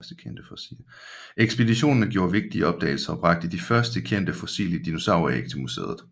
Ekspeditionerne gjorde vigtige opdagelser og bragte de første kendte fossile dinosauræg til museet